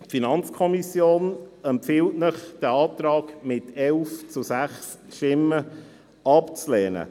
Die FiKo empfiehlt Ihnen mit 11 zu 6 Stimmen, diesen Antrag abzulehnen.